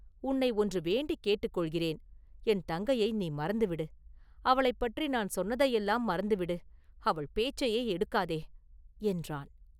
உன்னை ஒன்று வேண்டிக் கேட்டுக்கொள்கிறேன்.என் தங்கையை நீ மறந்து விடு; அவளைப் பற்றி நான் சொன்னதையெல்லாம் மறந்துவிடு; அவள் பேச்சையே எடுக்காதே!” என்றான்.